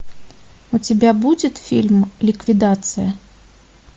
у тебя будет фильм ликвидация